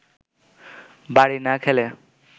বাড়ি না খেলে